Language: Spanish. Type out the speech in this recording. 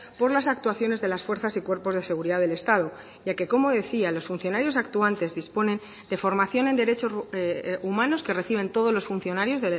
por las actuaciones de las fuerzas y cuerpos de seguridad del estado ya que como decía los funcionarios actuantes disponen de formación en derechos humanos que reciben todos los funcionarios